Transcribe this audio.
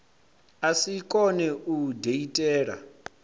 a si kone u diitela